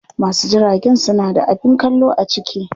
Wasu jiragen suna da abin kallo a ciki.